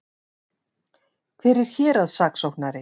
Hver er héraðssaksóknari?